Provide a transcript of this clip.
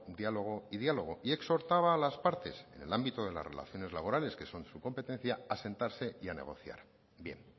diálogo y diálogo y exhortaba a la partes en el ámbito de las relaciones laborales que son su competencia a sentarse y a negociar bien